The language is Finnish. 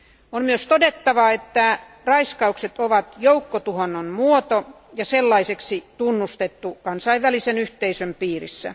On myös todettava, että raiskaukset ovat joukkotuhonnan muoto ja sellaiseksi tunnustettu kansainvälisen yhteisön piirissä.